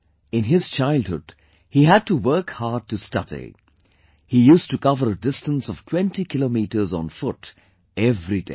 In his childhood he had to work hard to study, he used to cover a distance of 20 kilometers on foot every day